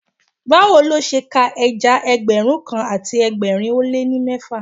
Báwo lo ṣe ka ẹja Ẹgbẹ̀rún kan àti ẹgbẹ̀rin ó lé ní mẹ́fà?